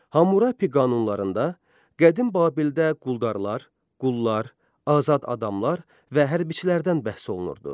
Hammurapi qanunlarında qədim Babildə quldarlar, qullar, azad adamlar və hərbiçilərdən bəhs olunurdu.